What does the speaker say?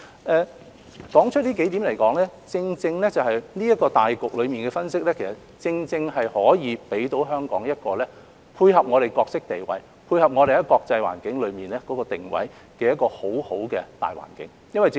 我指出以上數點是因為這個對大局的分析，正正可以給予香港一個既配合其角色地位，亦可發揮其在國際環境中的定位的一個很好的大環境。